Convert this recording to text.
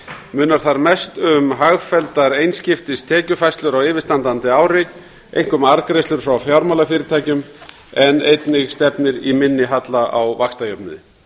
munar þar mest um hagfelldar einskiptistekjufærslur á yfirstandandi ári einkum arðgreiðslur frá fjármálafyrirtækjum en einnig stefnir í minni halla á vaxtajöfnuði